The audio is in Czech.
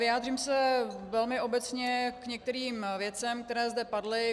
Vyjádřím se velmi obecně k některým věcem, které zde padly.